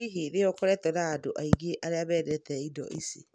Hihi nĩ ũkoretwo na andũ aingĩ arĩa mendete ĩndo ĩcĩ